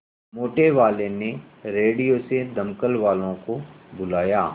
मोटेवाले ने रेडियो से दमकल वालों को बुलाया